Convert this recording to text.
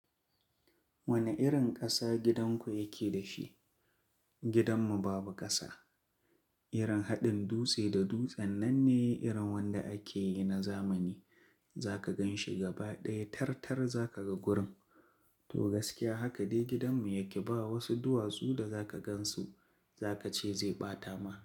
Wani irin ƙasa gidanku yake da shi? Gidanmu babu ƙasa. Irin haɗin dutse da dutse nan ne irin wanda ake yi na zamani. Za ka gan shi gaba ɗaya, tarta za ka ga gurin. To gaskiya haka dai gidanmu yake ba wasu duwatsu da za ka gan su za ka ce zai ɓata ma.